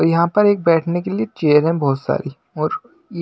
यहां पर एक बैठने के लिए चेयर हैं बहोत सारी और ई --